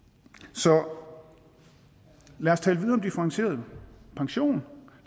så lad os tale videre om differentieret pension